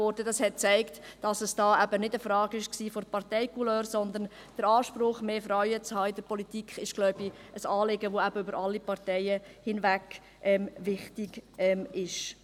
Dies zeigte, dass es eben nicht eine Frage der Parteicouleur ist, sondern der Anspruch, in der Politik mehr Frauen zu haben – ein Anliegen, das, wie ich glaube, eben über alle Parteien hinweg wichtig ist.